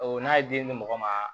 n'a ye di mɔgɔ ma